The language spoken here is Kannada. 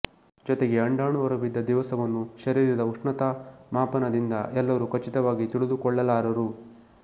ಜೊತೆಗೆ ಅಂಡಾಣು ಹೊರಬಿದ್ದ ದಿವಸವನ್ನು ಶರೀರದ ಉಷ್ಣತಾಮಾಪನದಿಂದ ಎಲ್ಲರೂ ಖಚಿತವಾಗಿ ತಿಳಿದುಕೊಳ್ಳಲಾರರು